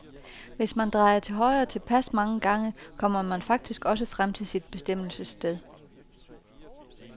Hvis man drejer til højre tilpas mange gange, kommer man faktisk også frem til sit bestemmelsessted.